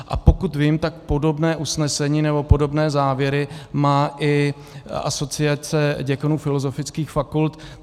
A pokud vím, tak podobné usnesení nebo podobné závěry má i Asociace děkanů filozofických fakult.